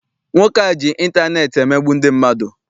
Nwoke a ji intaneeti emegbu ndị mmadụ.